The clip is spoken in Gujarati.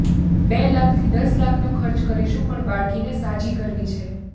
બે લાખથી દસ લાખનો ખર્ચ કરીશું પણ બાળકીને સાજી કરવી છે